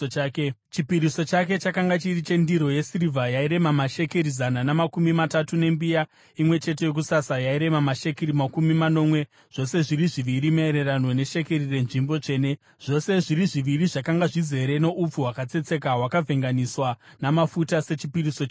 Chipiriso chake chakanga chiri chendiro yesirivha yairema mashekeri zana namakumi matatu, nembiya imwe chete yokusasa yairema mashekeri makumi manomwe, zvose zviri zviviri maererano neshekeri renzvimbo tsvene, zvose zviri zviviri zvakanga zvizere noupfu hwakatsetseka hwakavhenganiswa namafuta sechipiriso chezviyo;